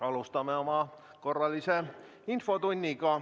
Alustame oma korralist infotundi.